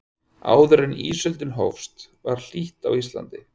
áður en ísöldin hófst var hlýtt á íslandi